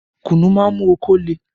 Kùnnú má ń mú okó le